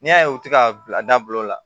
N'i y'a ye u tɛ ka bila dabila o la